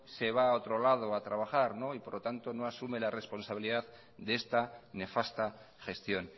se va a otro lado a trabajar y por tanto no asume la responsabilidad de esta nefasta gestión